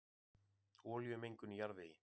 Olíumengun í jarðvegi